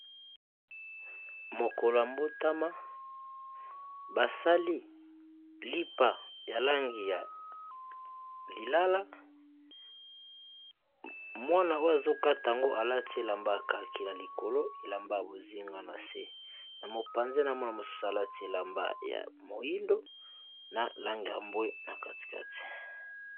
Mokolo ya mbotama basali lipa ya langi ya lilala, mwana oyo azoka tango alati elamba akaki na likolo elamba bozingwa na se na mopanze na mwana mosusu alati elamba ya moindo na langi ya mbwe na kati kati .